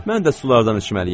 Mən də sulardan içməliyəm.